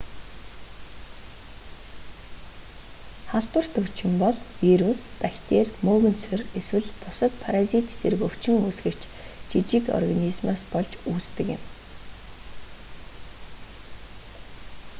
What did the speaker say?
халдварт өвчин бол вирус бактери мөөгөнцөр эсвэл бусад паразит зэрэг өвчин үүсгэгч жижиг организмоос болж үүсдэг юм